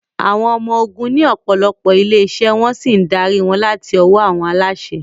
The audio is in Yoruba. Àwọn Ọmọ Ogun ní ọ̀pọ̀lọpọ̀ ilé-iṣẹ́ wọ́n sì ń darí wọn láti ọwọ́ àwọn aláṣẹ.